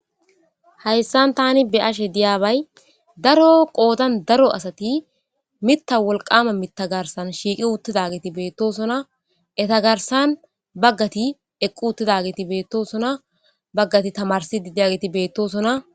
Hayssan tani be ashe diyaabay daro qoodan daro asati mitta wolqama mita garsan shiiqi uttidageti beettosona eta garsan baggati eqqu uttidageti beettosona baggati tamarsi didiageti beettosona.